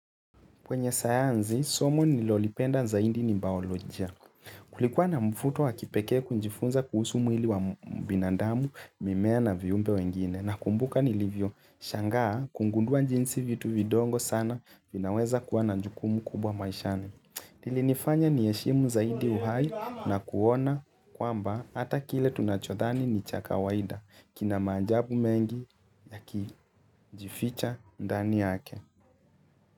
Kwenye sayansi, somo nilolipenda zaidi ni baolojia. Kulikuwa na mfuto wa kipeke kunjifunza kuhusu mwili wa binadamu, mimea na viumbe wengine. Nakumbuka nilivyoshangaa kungundua njinsi vitu vidogo sana vinaweza kuwa na njukumu kubwa maishani. Ilinifanya niheshimu zaidi uhai na kuona kwamba hata kile tunachodhani ni chaka waida. Kina maajabu mengi yakijificha ndani yake.